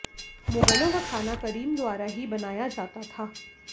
मुगलों का खाना करीम द्वारा ही बनाया जाता था